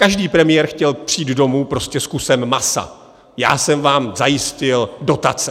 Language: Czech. Každý premiér chtěl přijít domů prostě s kusem masa - já jsem vám zajistil dotace.